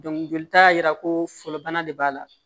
jolita y'a yira ko fɔlɔ bana de b'a la